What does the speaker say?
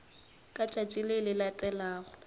ka letšatši le le latelago